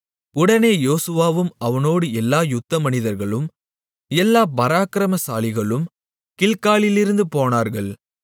உடனே யோசுவாவும் அவனோடு எல்லா யுத்தமனிதர்களும் எல்லா பராக்கிரமசாலிகளும் கில்காலிலிருந்து போனார்கள்